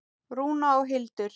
Rúna og Hildur.